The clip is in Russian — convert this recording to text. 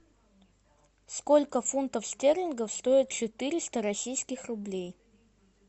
сколько фунтов стерлингов стоит четыреста российских рублей